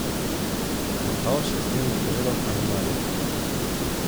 Matavž je s tem napovedal kanonado.